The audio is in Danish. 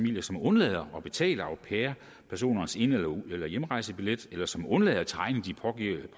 undlader at betale au pair personers ind eller hjemrejsebillet eller som undlader at tegne de